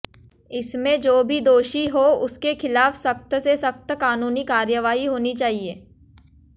इसमें जो भी दोषी हो उसके खिलाफ सख्त से सख्त कानूनी कार्रवाई होनी चाहिए